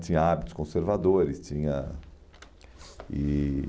Tinha hábitos conservadores. Tinha, e...